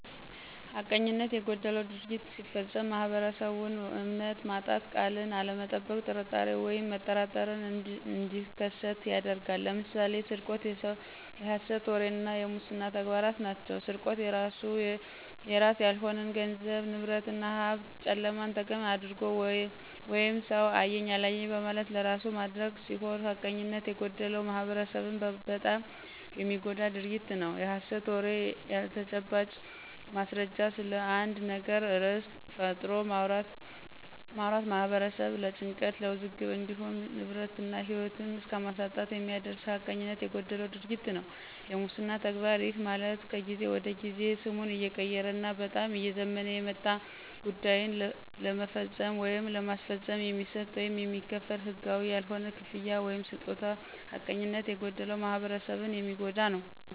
ሐቀኝነት የጎደለው ድርጊት ሲፈፀም ማህበረሰቡን እምነት ማጣት፣ ቃልን አለመጠበቅ ጥርጣሬ ወይም መጠራጠር እንዲከሠት ያደርጋል። ለምሳሌ፦ ስርቆት፣ የሠት ወሬ እና የሙስና ተግባራት ናቸው። -ስርቆት፦ የራስ ያልሆነን ገንዘብ፣ ንብረት እና ሀብት ጨለማን ተገን አድርጎ ወይም ሠው አየኝ አላየኝ በማለት ለራሱ ማድረግ ሲሆን ሐቀኝነት የጎደለው ማህበረሠብን በጣም የሚጎዳ ድርጊት ነው። -የሐሠት ወሬ፦ ያለተጨባጭ ማስረጃ ስለአንድ ነገር ርዕስ ፈጥሮ ማውራት ማህበረሠብን ለጭንቀት ለውዝግብ እንዲሁም ንብረት እና ህይወት እስከማሳጣት የሚያደርስ ሀቀኝነት የጎደለው ድርጊት ነው። -የሙስና ተግባር፦ ይህ ማለት ከጊዜ ወደ ጊዜ ስሙን እየቀየረ እና በጣም እየዘመነ የመጣ ጉዳይን ለመፈፀም ወይም ለማስፈፀም የሚሰጥ ወይም የሚከፈል ህጋዊ ያልሆነ ክፍያ ወይምስጦታ ሐቀኝነት የጎደለው ማህበረሰብን የሚጎዳ ነው።